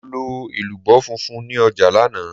Mo lọ elubo funfun ní ọjà lánàá.